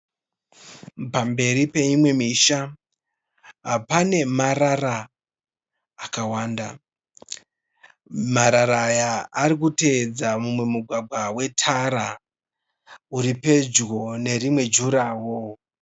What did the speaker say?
Pamberi peimwe misha pane marara akawanda. Marara aya arikutevedza mumwe mugwagwa wetara uripedyo nerimwe jurawo.